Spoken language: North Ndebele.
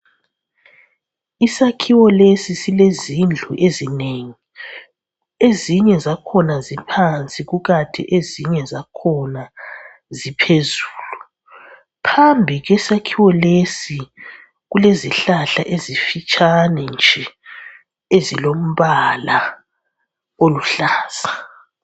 Isakhiwo lesi silezindlu ezinengi. Ezinye zakhona ziphansi kanti ezinye zakhona ziphezulu. Phambi kwesakhiwo lesi kulezihlahla ezifitshane nje ezilombala oluhlaza.